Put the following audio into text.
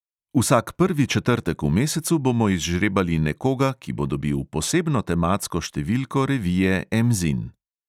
Vsak prvi četrtek v mesecu bomo izžrebali nekoga, ki bo dobil posebno tematsko številko revije emzin.